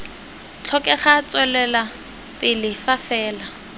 tlhokega tswelela pele fa fela